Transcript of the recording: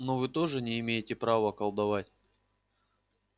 но вы тоже не имеете права колдовать